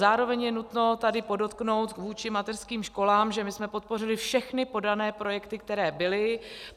Zároveň je nutno tady podotknout vůči mateřským školám, že my jsme podpořili všechny podané projekty, které byly.